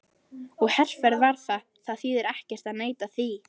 Og herferð var það, það þýðir ekkert að neita því.